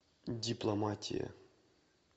дипломатия